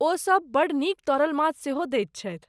ओ सब बड़ नीक तरल माछ सेहो दैत छथि।